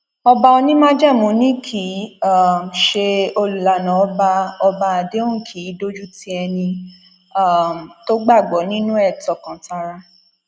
ọba onímájẹmú ni kì í um ṣe olùlànà ọba ọba àdéhùn kì í dójú ti ẹni um tó gbàgbọ nínú ẹ tọkàntara